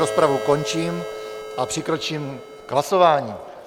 Rozpravu končím a přikročím k hlasování.